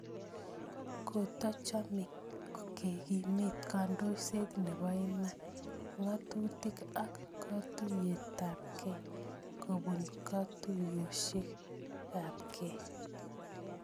Kotochome kekimit kandoiset nebo iman, ngatutik ak katuiyetabkei kobun katuiyosiekabke